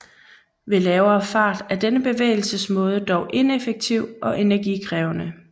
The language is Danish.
Ved lavere fart er denne bevægelsesmåde dog ineffektiv og energikrævende